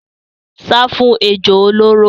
Sá fún ejò olóró.